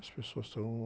As pessoas estão...